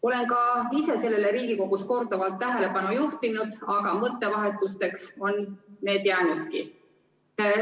Olen ka ise Riigikogus sellele korduvalt tähelepanu juhtinud, aga mõttevahetuseks on see jäänudki.